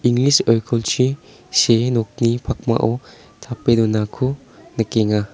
oikolchi see nokni pakmao tape donako nikenga.